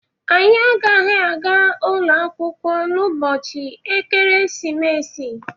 Anyị agaghị aga ụlọ akwụkwọ n'ụbọchị ekeresimesi.